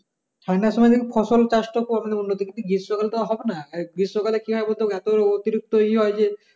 ঠাণ্ডা সময় ফসল চাষ করলে উন্নতি কিন্তু গ্রীষ্ম কালে হবে না আর গ্রীষ্ম কালে কি হয় বলতো অতিরিক্ত ই হয় যে